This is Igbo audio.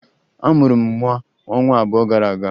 A mụrụ m nwa ọnwa abụọ gara aga